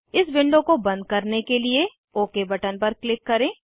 इस विंडो को बंद करने के लिए ओक बटन पर क्लिक करें